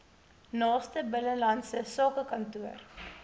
naaste binnelandse sakekantoor